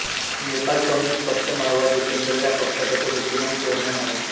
Nepal communist पक्ष माओवादीकेंद्र ह्या पक्षाचा तो विद्यमान चेअरमन आहे